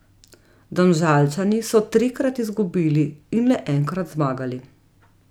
Domžalčani so trikrat izgubili in le enkrat zmagali.